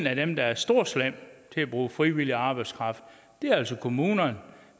af dem der er storslemme til at bruge frivillig arbejdskraft er altså kommunerne